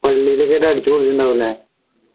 പള്ളിയിൽക്കെ ആയിട്ട് അടിച്ചുപൊളിച്ചിട്ടുണ്ടാവും ല്ലേ